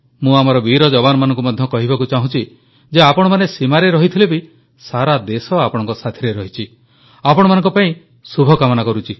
ମୁଁ ଆମର ବୀର ଯବାନମାନଙ୍କୁ ମଧ୍ୟ କହିବାକୁ ଚାହୁଁଛି ଯେ ଆପଣମାନେ ସୀମାରେ ରହିଥିଲେ ବି ସାରା ଦେଶ ଆପଣଙ୍କ ସାଥିରେ ରହିଛି ଆପଣମାନଙ୍କ ପାଇଁ ଶୁଭକାମନା କରୁଛି